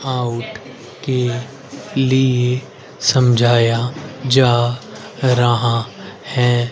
Out के लिए समझाया जा रहा है।